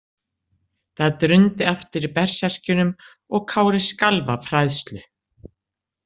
Það drundi aftur í berserkjunum og Kári skalf af hræðslu.